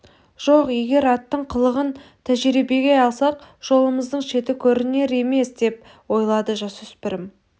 жоқ егер аттың қылығын тәжірибеге алсақ жолымыздың шеті көрінер емес деп ойлады жасөспірім